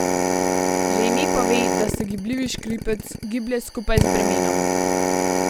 Že ime pove, da se gibljivi škripec giblje skupaj z bremenom.